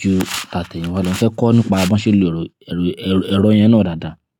ju tàtẹ̀yin wa lọ. Mo fẹ́ kọ́ nípa bí wọ́n ṣe ń lo ẹ̀rọ, ẹ̀rọ, ẹ̀rọ, ẹ̀rọ yẹn náà dáadáa.